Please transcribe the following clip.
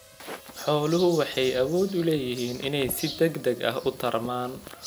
Xooluhu waxay awood u leeyihiin inay si degdeg ah u tarmaan.